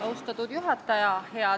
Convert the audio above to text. Austatud juhataja!